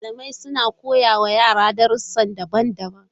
Malamai suna koya wa yara darussa daban-daban.